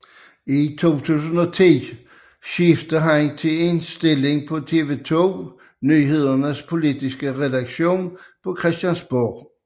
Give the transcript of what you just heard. I 2010 skiftede han til en stilling på TV 2 Nyhedernes politiske redaktion på Christiansborg